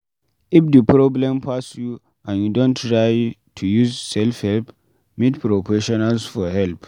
If di problem pass you and you don try to use self help, meet professions for help